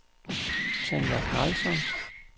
Tanja Karlsson